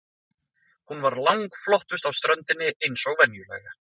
Hún var langflottust á ströndinni eins og venjulega.